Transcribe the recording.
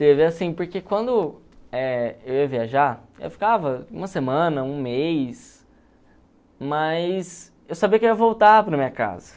Teve assim, porque quando eh eu ia viajar, eu ficava uma semana, um mês, mas eu sabia que eu ia voltar para a minha casa.